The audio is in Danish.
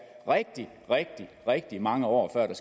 rigtig rigtig mange år før der